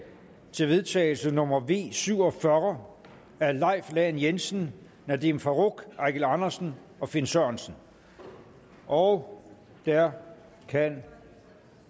til vedtagelse nummer v syv og fyrre af leif lahn jensen nadeem farooq eigil andersen og finn sørensen og der kan